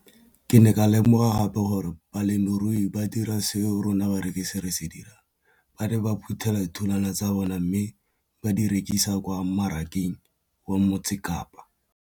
Ke ne ka lemoga gape gore balemirui ba dira seo rona barekisi re se dirang, ba ne ba phuthela ditholwana tsa bona mme ba di rekisa kwa marakeng wa Motsekapa.